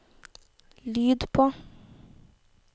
lyd på